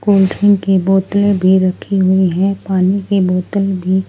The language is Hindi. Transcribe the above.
कोल्ड्रिंक की बोतलें भी रखी हुई हैं पानी की बोतल भी--